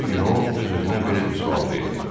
Bir gün o öz-özünə belə bir sual verdi.